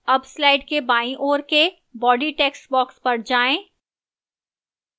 अब slide के बाईं ओर के body textbox पर जाएं